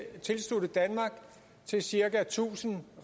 tilslutte danmark til cirka tusind